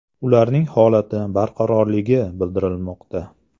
Ularning holati barqarorligi bildirilmoqda.